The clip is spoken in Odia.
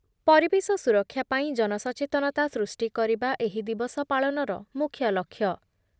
ପରିବେଶ ସୁରକ୍ଷା ପାଇଁ ଜନସଚେତନତା ସୃଷ୍ଟି କରିବା ଏହି ଦିବସ ପାଳନର ମୁଖ୍ୟ ଲକ୍ଷ୍ୟ ।